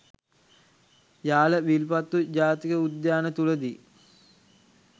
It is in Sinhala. යාල විල්පත්තු ජාතික උද්‍යාන තුළදී